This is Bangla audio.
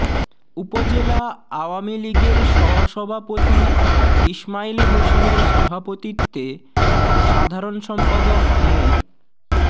উপজেলা আওয়ামী লীগের সহসভাপতি ইসমাইল হোসেনের সভাপতিত্বে ও সাধারণ সম্পাদক মো